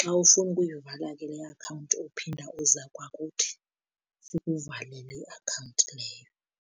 Xa ufuna ukuyivala ke le akhawunti uphinda uza kwakuthi sikuvalele iakhawunti leyo.